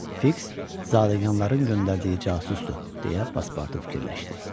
Fiks zadəyanların göndərdiyi casusdur, deyə Paspartu fikirləşdi.